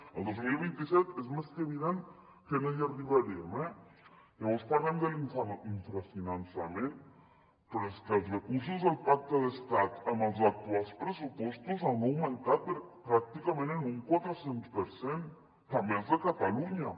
el dos mil vint set és més que evident que no hi arribarem eh llavors parlem de l’infrafinançament però és que els recursos del pacte d’estat amb els actuals pressupostos han augmentat pràcticament en un quatre cents per cent també els de catalunya